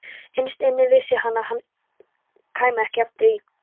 Innst inni vissi hann að hann kæmi ekki aftur í